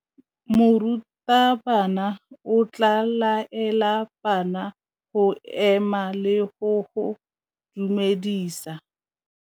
Morutabana o tla laela bana go ema le go go dumedisa.